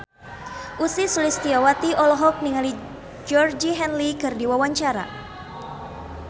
Ussy Sulistyawati olohok ningali Georgie Henley keur diwawancara